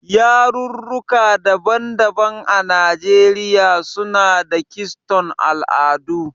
Yarurruka daban-daban a Najeriya suna da kiston al'adu.